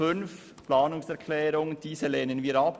Den Antrag 5 lehnen wir ab.